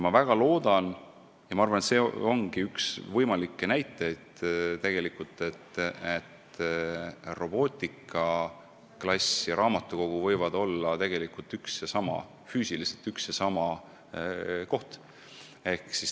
Ma väga loodan – see ehk ongi üks võimalikke näiteid –, et robootikaklass ja raamatukogu võivad füüsiliselt olla üks ja sama koht.